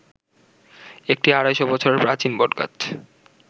একটি ২৫০ বছরের প্রাচীন বটগাছ